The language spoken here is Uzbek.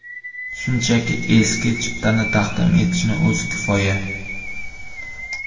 Shunchaki eski chiptani taqdim etishning o‘zi kifoya.